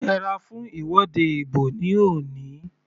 Yẹra fún ìwọ́de ìbò ní òní.